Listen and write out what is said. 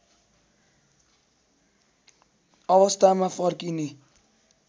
अवस्थामा फर्किने